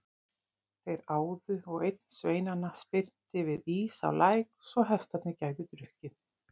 Þeir áðu og einn sveinanna spyrnti við ís á læk svo hestarnir gætu drukkið.